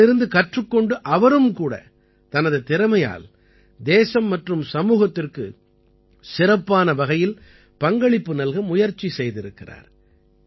இதிலிருந்து கற்றுக் கொண்டு அவரும் கூட தனது திறமையால் தேசம் மற்றும் சமூகத்திற்கு சிறப்பான வகையில் பங்களிப்பு நல்க முயற்சி செய்திருக்கிறார்